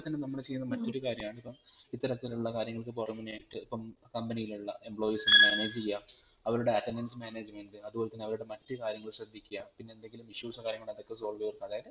ഇപ്പം തന്നെ നമ്മൾ ചെയ്യുന്ന മറ്റൊരു കാര്യണിപ്പം ഇത്തരത്തിലുള്ള കാര്യങ്ങൾക് പുറമേആയിട്ട് ഇപ്പം company ഇലുള്ള employees നെ manage ചെയ്യാ അവരുടെ attendance management അതുപോലെത്തെ അവരുടെ മറ്റു കാര്യങ്ങൾ ശ്രധിക്കുക പിന്നെ എന്തെങ്കിലും issues ഒ കാര്യങ്ങൾ ഒക്കെ solve ചെയ്യാ